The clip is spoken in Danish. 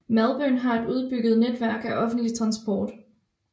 Melbourne har et udbygget netværk af offentligt transport